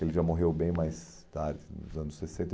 Ele já morreu bem mais tarde, nos anos sessenta.